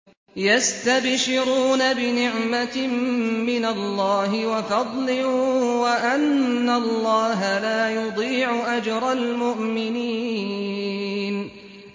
۞ يَسْتَبْشِرُونَ بِنِعْمَةٍ مِّنَ اللَّهِ وَفَضْلٍ وَأَنَّ اللَّهَ لَا يُضِيعُ أَجْرَ الْمُؤْمِنِينَ